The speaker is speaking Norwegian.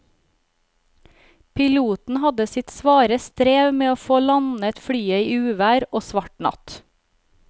Piloten hadde sitt svare strev med å få landet flyet i uvær og svart natt.